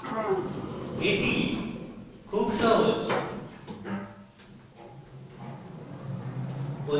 easy খুব সহজ